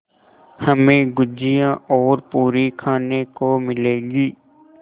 हमें गुझिया और पूरी खाने को मिलेंगी